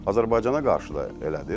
Azərbaycana qarşı da elədir.